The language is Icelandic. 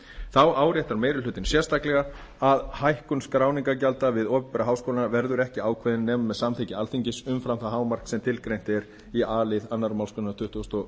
þá áréttar meiri hlutinn sérstaklega að hækkun skráningargjalda við opinbera háskóla verður ekki ákveðin nema með samþykki alþingis umfram það hámark sem tilgreint er í a lið önnur málsgrein tuttugustu og